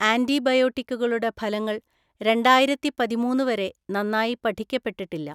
ആൻറിബയോട്ടിക്കുകളുടെ ഫലങ്ങൾ രണ്ടായിരത്തി പതിമൂന്നു വരെ നന്നായി പഠിക്കപ്പെട്ടിട്ടില്ല.